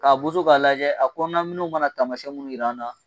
K'a boso k'a lajɛ a kɔnɔnaminɛw mana taamasiɲɛ mun jira an na